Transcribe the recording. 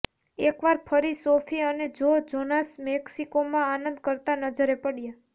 એકવાર ફરી સોફી અને જો જોનાસ મેક્સિકોમાં આનંદ કરતા નજરે પડ્યા